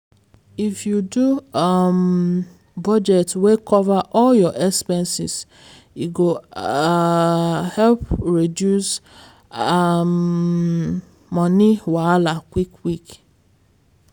if you do um budget wey cover all your expenses e go um help reduce um money wahala quick quick.